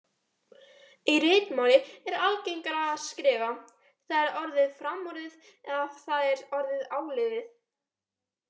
Í ritmáli er algengara að skrifa: það er orðið framorðið eða það er orðið áliðið